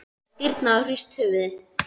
Hann hafði stirðnað og hrist höfuðið.